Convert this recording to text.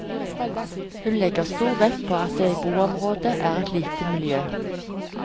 Hun legger stor vekt på at det i boområdet er et lite miljø.